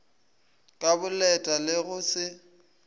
ka boleta le go se